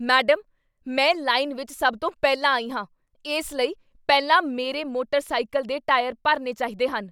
Madam, ਮੈਂ line ਵਿੱਚ ਸਭ ਤੋਂ ਪਹਿਲਾਂ ਆਈ ਹਾਂ, ਇਸ ਲਈ ਉਹ ਪਹਿਲਾਂ ਮੇਰੇ ਮੋੇਟਰ ਸਾਈਕਲ ਦੇ ਟਾਇਰ ਭਰਨੇ ਚਾਹੀਦੇ ਹਨ।